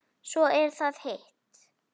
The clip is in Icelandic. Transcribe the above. Svo er það hitt.